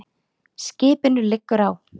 Skipinu liggur á.